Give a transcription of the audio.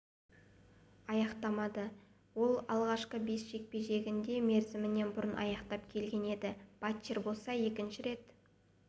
аяқтамады ол алғашқы бес жекпе-жегін де мерзімінен бұрын аяқтап келген еді батчер болса екінші рет